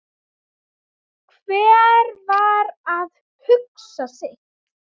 Hver var að hugsa sitt.